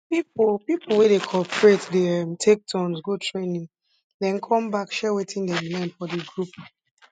people people wey dey cooperate dey um take turns go training den come back share wetin dem learn for di group